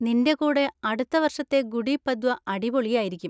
നിൻ്റെ കൂടെ അടുത്ത വർഷത്തെ ഗുഡി പദ്വ അടിപൊളിയായിരിക്കും.